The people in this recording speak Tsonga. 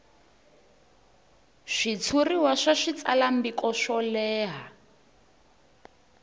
switshuriwa swa switsalwambiko swo leha